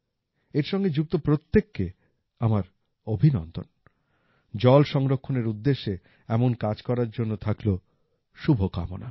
এর সঙ্গে যুক্ত প্রত্যেককে আমার অভিনন্দন জল সংরক্ষণের উদ্দেশ্যে এমন কাজ করার জন্য থাকলো শুভকামনা